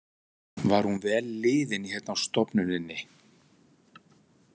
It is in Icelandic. Var hún vel liðin hérna á stofnuninni?